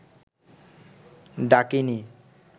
ডাকিণী